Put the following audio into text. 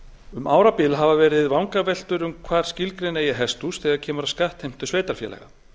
um árabil hafa verið vangaveltur um hvar skilgreina eigi hesthús þegar kemur að skattheimtu sveitarfélaga